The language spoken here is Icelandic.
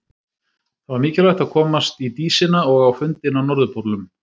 Það var mikilvægt að komast í Dísina og á fundinn á Norðurpólnum.